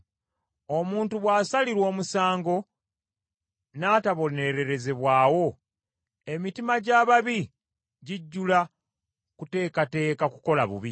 Omuntu bw’asalirwa omusango n’atabonererezebwawo, emitima gy’ababi gijjula kuteekateeka kukola bubi.